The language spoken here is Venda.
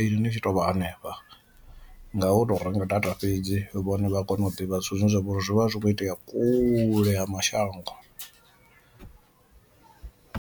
iṅwi ni tshi tovha hanefha, nga u tou renga data fhedzi vhone vha kone u ḓivha zwithu zwine zwa vhori zwi vha zwi kho itea kule ha mashango.